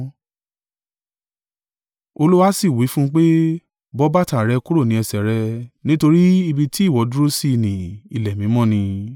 “Olúwa sì wí fún un pé, ‘Bọ́ bàtà rẹ kúrò ní ẹsẹ̀ rẹ, nítorí ibi tí ìwọ dúró sí i nì ilẹ̀ mímọ́ ni.